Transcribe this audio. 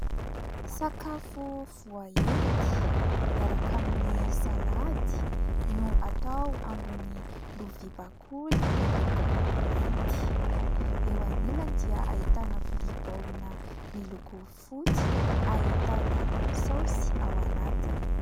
Sakafo voaendy miaraka amin'ny salady no atao ambony lovia bakoly miloko mainty. Eo anilany dia ahitana vilia baolina miloko fotsy ahitana saosy ao anatiny.